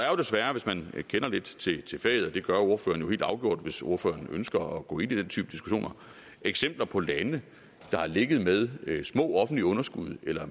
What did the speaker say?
jo desværre hvis man kender lidt til faget og det gør ordføreren helt afgjort hvis ordføreren ønsker at gå ind i den type diskussioner eksempler på lande der har ligget med små offentlige underskud eller